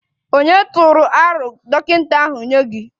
Ònye tụrụ aro dọkịta ahụ nye gị?